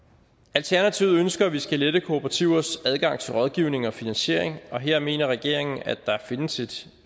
alternativet ønsker at vi skal lette kooperativers adgang til rådgivning og finansiering her mener regeringen at der findes et